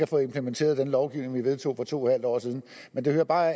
fået implementeret den lovgivning vi vedtog for to en halv år siden men det hører bare